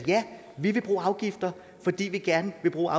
vi vil bruge afgifter fordi vi gerne vil bruge